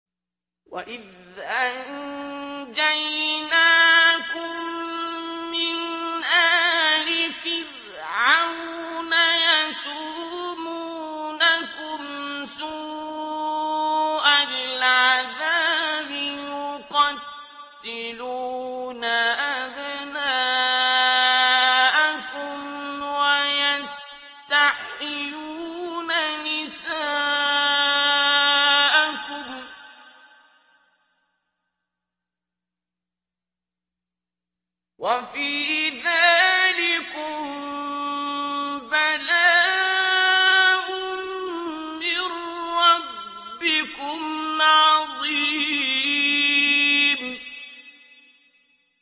وَإِذْ أَنجَيْنَاكُم مِّنْ آلِ فِرْعَوْنَ يَسُومُونَكُمْ سُوءَ الْعَذَابِ ۖ يُقَتِّلُونَ أَبْنَاءَكُمْ وَيَسْتَحْيُونَ نِسَاءَكُمْ ۚ وَفِي ذَٰلِكُم بَلَاءٌ مِّن رَّبِّكُمْ عَظِيمٌ